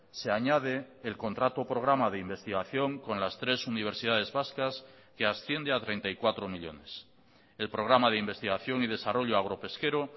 se añade el contrato programa de investigación con las tres universidades vascas que asciende a treinta y cuatro millónes el programa de investigación y desarrollo agropesquero